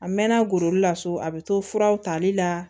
A mɛɛnna goro la so a bɛ to fura tali la